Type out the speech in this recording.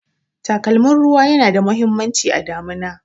Takalmin ruwa yana da muhimmanci a damuna